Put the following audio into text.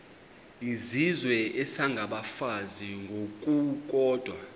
izizwe isengabafazi ngokukodwa